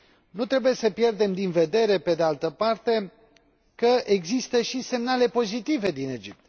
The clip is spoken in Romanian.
Nu trebuie să pierdem din vedere, pe de altă parte, că există și semnale pozitive din Egipt.